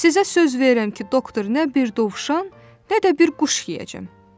"Sizə söz verirəm ki, doktor, nə bir dovşan, nə də bir quş yeyəcəm."